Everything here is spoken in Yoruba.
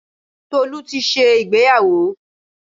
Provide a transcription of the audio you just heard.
Tolú ti ṣe ìgbéyàwó.